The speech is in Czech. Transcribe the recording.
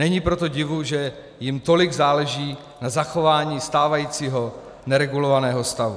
Není proto divu, že jim tolik záleží na zachování stávajícího neregulovaného stavu.